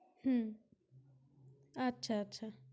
হম আচ্ছা আচ্ছা।